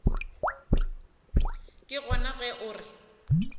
ke gona ge o re